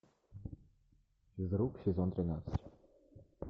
физрук сезон тринадцать